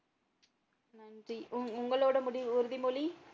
நன்றி உங்களோட முடிவு உறுதிமொழி?